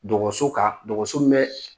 Dɔgɔtso kan dɔgɔso min bɛ